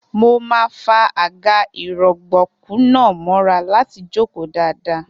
Mo máa fa àga-ìrọ̀gbọ̀kú náà mọ́ra láti jókòó dáadáa.